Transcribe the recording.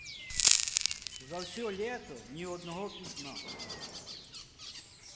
за всё лето ни одного письма